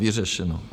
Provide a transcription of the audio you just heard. Vyřešeno.